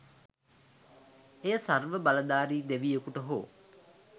එය සර්ව බලධාරි දෙවියකුට හෝ